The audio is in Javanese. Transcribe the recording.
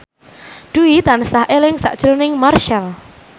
Dwi tansah eling sakjroning Marchell